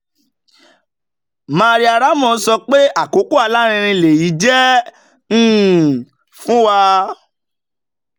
maria ramos sọ pé àkókò alárinrin lèyí jẹ́ um fún wa.